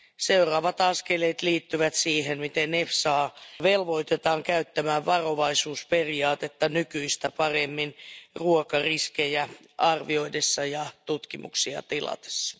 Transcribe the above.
Seuraavat askeleet liittyvät siihen, miten EFSA velvoitetaan käyttämään varovaisuusperiaatetta nykyistä paremmin ruokariskejä arvioidessa ja tutkimuksia tilatessa.